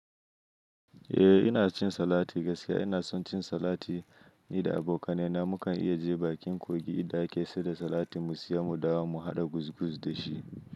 Eh ina cin salati gaskiya ina son cin salati ni da abokanai na mu kan iya je bakin kogi idan ake sai da salatin mu siya mu dawo mu haɗa guz guz da shi.